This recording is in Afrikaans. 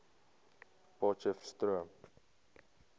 potcheftsroom